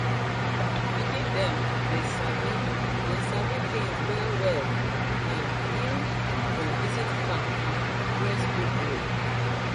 pikin dem dey sabi dey sabi things wellwell um if dem visit farm um during school break